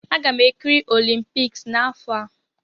Aga m ekiri olimpiks n'afọ a.